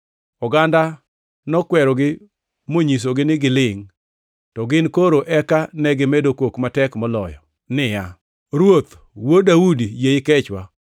Oganda nokwerogi monyisogi ni gilingʼ, to gin koro eka negimedo kok matek moloyo niya, “Ruoth, Wuod Daudi, yie ikechwa!”